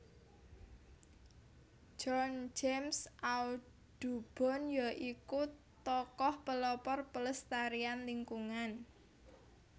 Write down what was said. John James Audubon ya iku tokoh pelopor pelestarian lingkungan